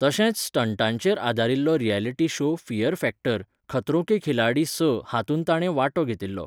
तशेंच स्टंटांचेर आदारिल्लो reality show Fear Factor, Khatron ke Khiladi स हातूंत ताणें वांटो घेतिल्लो.